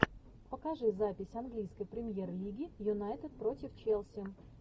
покажи запись английской премьер лиги юнайтед против челси